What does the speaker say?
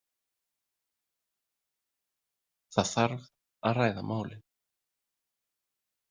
Það þarf að ræða málin.